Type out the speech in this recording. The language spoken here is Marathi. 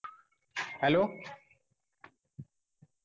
Hello